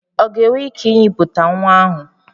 Ọ ga-enwe ike inyipụta nwa ahụ?